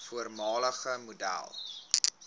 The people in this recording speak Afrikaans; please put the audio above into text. voormalige model